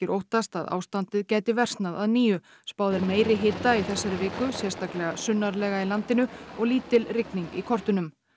óttast að ástandið gæti versnað að nýju spáð er meiri hita í þessari viku sérstaklega sunnarlega í landinu og lítil rigning í kortunum